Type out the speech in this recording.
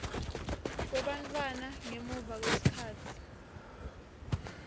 kwebantfwana ngemuva kwesikhatsi